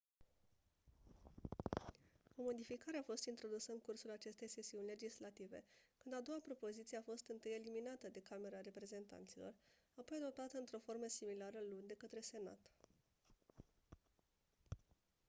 o modificare a fost introdusă în cursul acestei sesiuni legislative când a doua propoziție a fost întâi eliminată de camera reprezentanților apoi adoptată într-o formă similară luni de către senat